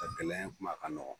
A gɛlɛya in kuma kan ka nɔgɔn.